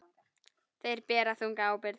Þeir bera þunga ábyrgð.